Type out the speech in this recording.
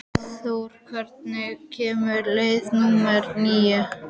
Þorbrandur, hvenær kemur leið númer níu?